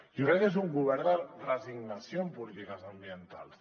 jo crec que és un govern de resignació en polítiques ambientals